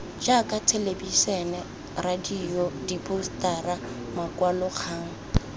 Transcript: jaaka thelebisene radio diphousetara makwalokgang